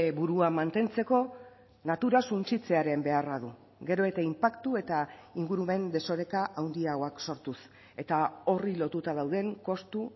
burua mantentzeko natura suntsitzearen beharra du gero eta inpaktu eta ingurumen desoreka handiagoak sortuz eta horri lotuta dauden kostu